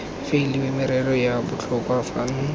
faeliwe merero ya botlhokwa fano